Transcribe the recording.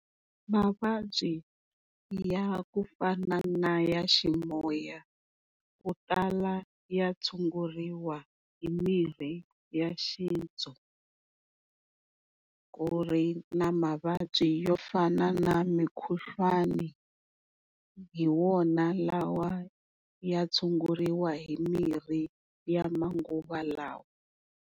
Mavabyi ya ku fana na ya ximoya ku tala ya tshunguriwa hi mirhi ya xintu ku ri na mavabyi yo fana na mikhuhlwani hi wona lawa ya tshunguriwa hi mirhi ya manguva lawa.